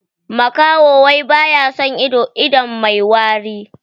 Makaho wai baya son ido, ido mai wari.